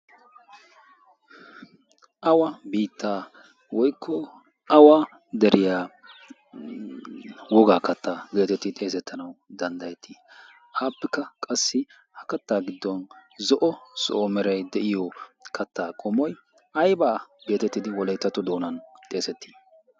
Awaa biittaa woykko awa deriyaa wogaa katta geetetti xeesettanawu danddayetti? Appekka qassi ha katta giddon zo'o zo'o meray de'iyo katta qommoy ayba geetettidi wolayttatto doonan xeesetti?